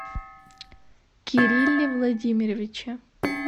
кирилле владимировиче